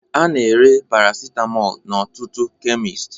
A na-ere Paracetamol n'ọtụtụ kemist